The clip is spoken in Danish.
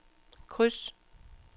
kryds